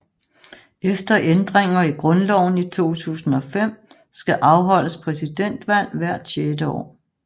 Efter ændringer i grundloven i 2005 skal afholdes præsidentvalg hvert sjette år